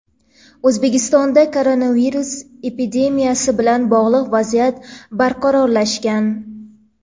O‘zbekistonda koronavirus epidemiyasi bilan bog‘liq vaziyat barqarorlashgan.